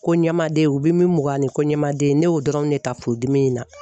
Ko ɲɛmaden u bɛ min mugan ni ko ɲɛmaden, ne y'o dɔrɔn de ta furudimi in na.